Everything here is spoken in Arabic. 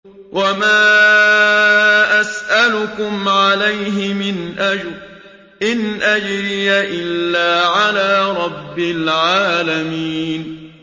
وَمَا أَسْأَلُكُمْ عَلَيْهِ مِنْ أَجْرٍ ۖ إِنْ أَجْرِيَ إِلَّا عَلَىٰ رَبِّ الْعَالَمِينَ